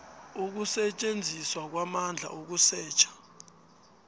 ukusetjenziswa kwamandla ukusetjha